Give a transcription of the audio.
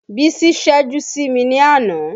Bísí ṣẹ́jú sí mi ní àná